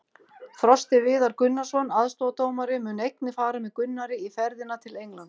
Frosti Viðar Gunnarsson, aðstoðardómari, mun einnig fara með Gunnari í ferðina til Englands.